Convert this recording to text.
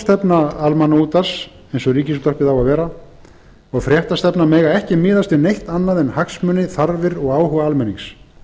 almannaútvarp eins og ríkisútvarpið á að vera og fréttastefna mega ekki miðast við neitt annað en hagsmuni þarfir og áhuga almennings